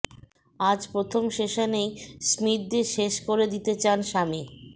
আজ প্রথম সেশনেই স্মিথদের শেষ করে দিতে চান শামি